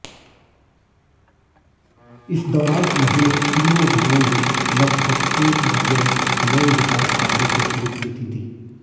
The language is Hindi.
इस दौरान उन्होंने तीनों गांवों में लगभग एक दर्जन नए विकास कार्यों को स्वीकृति दी